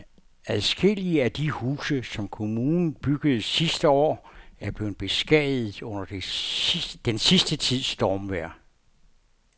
Adskillige af de huse, som kommunen byggede sidste år, er blevet beskadiget under den sidste tids stormvejr.